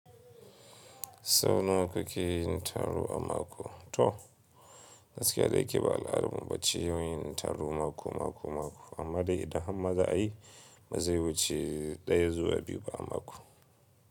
Sau nawa kake yin taro a mako? To, gaskiya dai kiba al'adarmu ba ce yin taro mako, mako, mako amma dai idan har maza a yi, mu zai wuce ɗaya zuwa biyu ba a mako.